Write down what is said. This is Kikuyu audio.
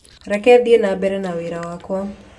Reke thĩĩ na mbere na wĩra wakwa